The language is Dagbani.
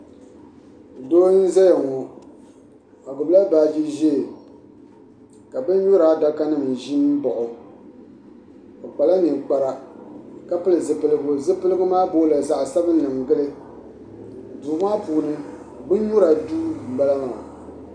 Doo n ʒɛya ŋo o gbubila baaji ʒiɛ ka bin nyura adaka nim ƶi n baɣa o o kpala ninkpara ka pili zipiligu zipipigu maa boola zaɣ sabinli n Gabo duu maa puuni bin nyura duu n bala maa